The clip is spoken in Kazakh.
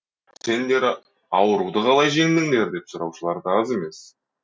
сендер ауруды қалай жеңдіңдер деп сұраушылар да аз емес